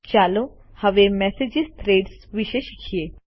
ચાલો હવે message threads વિષે શીખીએ